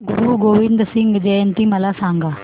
गुरु गोविंद सिंग जयंती मला सांगा